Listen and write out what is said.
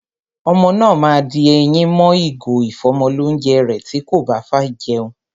Ọmọ náà ma di eyín mọ́ ìgò ìfọ́mọlónjẹ rẹ̀ tí kò báfẹ́ jẹun.